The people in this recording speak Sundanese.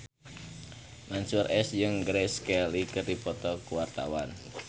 Mansyur S jeung Grace Kelly keur dipoto ku wartawan